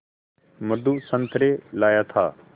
मधु संतरे लाया था